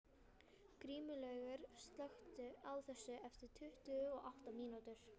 Grímlaugur, slökktu á þessu eftir tuttugu og átta mínútur.